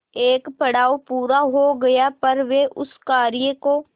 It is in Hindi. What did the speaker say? एक पड़ाव पूरा हो गया पर वे उस कार्य को